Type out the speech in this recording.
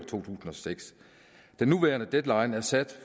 tusind og seks den nuværende deadline er sat